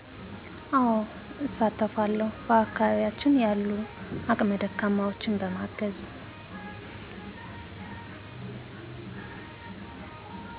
አወ እሳተፋለዉ በአከባቢያችን ያሉ አቅመ ደካማወችን በማገዝ